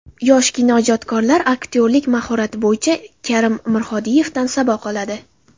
Yosh kinoijodkorlar aktyorlik mahorati bo‘yicha Karim Mirhodiyevdan saboq oladi.